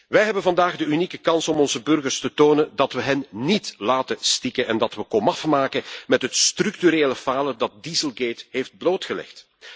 Wij hebben vandaag de unieke kans om onze burgers te tonen dat we hen niet laten stikken en dat we komaf maken met het structurele falen dat dieselgate heeft blootgelegd.